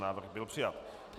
Návrh byl přijat.